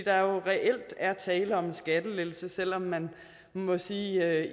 er jo reelt er tale om en skattelettelse selv om man må sige at